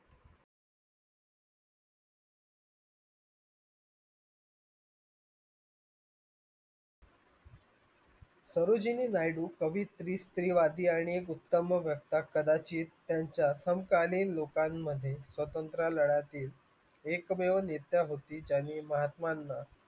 कवियत्री स्त्रीवादी आणि उत्तम कदाचित त्यांच्या लोकांमध्ये स्वतंत्र लढातील एकमेव नेता होती त्यांनी महात्माना